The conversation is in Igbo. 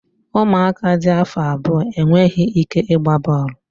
Ụmụaka dị afọ abụọ enweghị ike ịgba bọọlụ